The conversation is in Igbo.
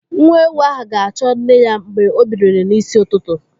Nwa ewu ahụ ga-achọ nne ya mgbe o biliri n'isi ụtụtụ.